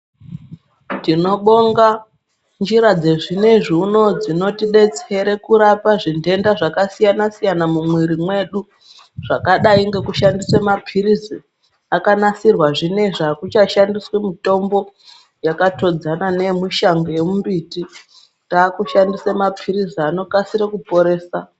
Tinobonga njira dzezvinoizvi dzinotidetsere kurapa zvindenda zvakasiyana siyana mumuiri mwedu zvakadai ,nekushandise mapirisi akanasirwa. Ezvino izvi hakuchashandiswe mitombo yakatodzana neyemushango yemumbiti, taaku shandise mapirisi anokasire kuporesa.